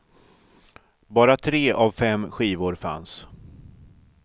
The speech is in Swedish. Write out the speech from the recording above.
Bara tre av fem skivor fanns.